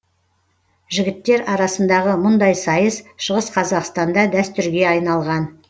жігіттер арасындағы мұндай сайыс шығыс қазақстанда дәстүрге айналған